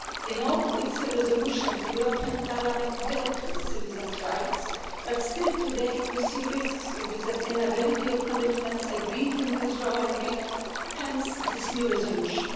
In all its resolutions, the European Parliament dealt with citizens' rights, but still today we see risks to the sustainability of commitments agreed in the withdrawal agreement hence this new resolution.